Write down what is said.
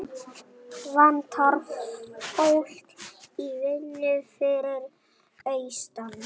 Vantar fólk í vinnu fyrir austan